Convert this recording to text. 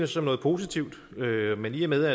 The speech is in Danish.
som noget positivt men i og med